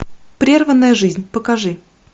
прерванная жизнь покажи